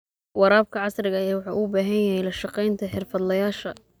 Waraabka casriga ahi waxa uu u baahan yahay la shaqaynta xirfadlayaasha.